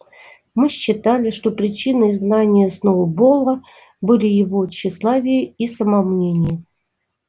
мы считали что причиной изгнания сноуболла были его тщеславие и самомнение